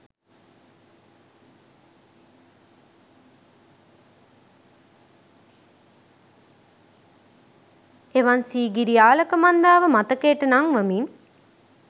එවන් සීගිරි ආලකමන්දාව මතකයට නංවමින්